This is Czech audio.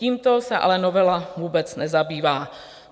Tímto se ale novela vůbec nezabývá.